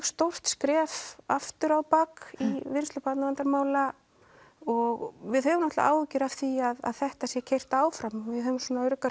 stórt skref aftur á bak í vinnslu barnaverndarmála og við höfum náttúrulega áhyggjur af því að þetta sé keyrt áfram og við höfum svona okkar